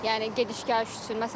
Yəni gediş-gəliş üçün.